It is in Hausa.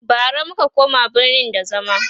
bara muka koma birni da zama